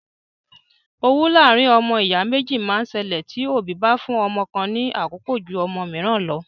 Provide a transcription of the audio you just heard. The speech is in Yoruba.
Owú láàárín ọmọ ìyá méjì máa ń ṣẹlẹ tí òbí bá fún ọmọ kan ní àkókò jú ọmọ mìíràn lọ.